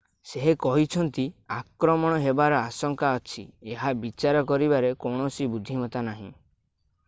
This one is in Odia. ସେ କହିଛନ୍ତି ଆକ୍ରମଣ ହେବାର ଆଶଙ୍କା ଅଛି ଏହା ବିଚାର କରିବାରେ କୌଣସି ବୁଦ୍ଧିମତା ନାହିଁ